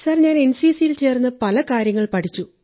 ഞാൻ എൻസിസിയിൽ ചേർന്ന് പല കാര്യങ്ങൾ പഠിച്ചു